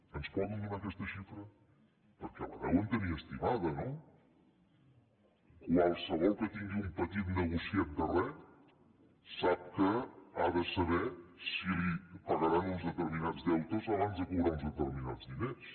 ens poden donar aquesta xifra perquè la deuen tenir estimada no qualsevol que tingui un petit negociet de res sap ha de saber si li pagaran uns determinats deutes abans de cobrar uns determinats diners